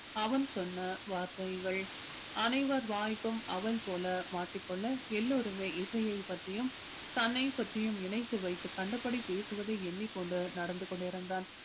அவன் சொன்ன வார்த்தைகள் அனைவர் வாய்க்கும் அவல் போல மாட்டிக் கொள்ள எல்லோருமே இசையை பற்றியும் தன்னைப் பற்றியும் இணைத்து வைத்து கண்டபடி பேசுவதை எண்ணிக்கொண்டு நடந்து கொண்டிருந்தான்